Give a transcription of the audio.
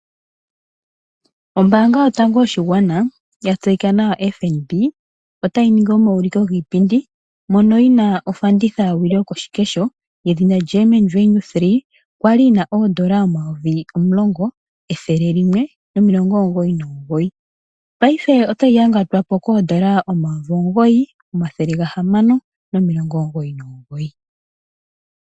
Ombaanga yotango yoshigwana ya tseyika nawa FNB otayi ningi omauliko giipindi mono yina ofanditha yowili yokoshikesho yedhina Garmin Venu 3, yali yina oondola omayovi omulongo, ethele limwe nomilongo omugoyi nomugoyi paife otayi yangatwa po koondola omayovi omugoyi, omathele ga hamano nomilongo omugoyi nomugoyi.